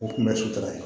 O kun bɛ sitan